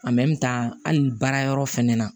hali baara yɔrɔ fɛnɛ na